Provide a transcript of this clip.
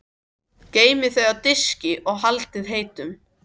Geymið þau á diski og haldið heitum.